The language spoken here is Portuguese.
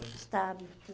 estável.